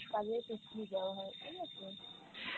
কাজের সুত্রে যাওয়া হয় ঠিক আছে?